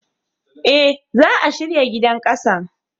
Eh, za'a shirya gidan ƙasan.